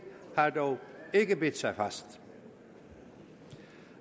har ikke bidt sig fast